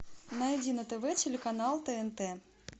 найди на тв телеканал тнт